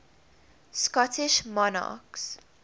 scottish monarchs